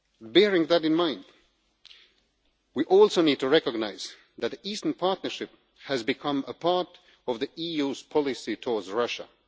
Bearing that in mind, we also need to recognise that the Eastern Partnership has become part of the EU's policy towards Russia.